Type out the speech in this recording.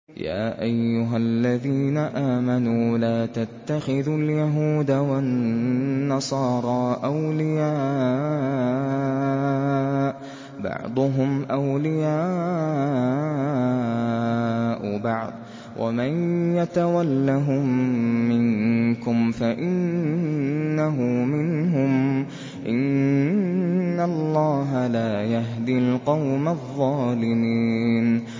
۞ يَا أَيُّهَا الَّذِينَ آمَنُوا لَا تَتَّخِذُوا الْيَهُودَ وَالنَّصَارَىٰ أَوْلِيَاءَ ۘ بَعْضُهُمْ أَوْلِيَاءُ بَعْضٍ ۚ وَمَن يَتَوَلَّهُم مِّنكُمْ فَإِنَّهُ مِنْهُمْ ۗ إِنَّ اللَّهَ لَا يَهْدِي الْقَوْمَ الظَّالِمِينَ